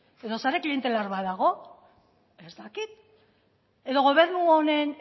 edo sare klientelar bat dago ez dakit edo gobernu honen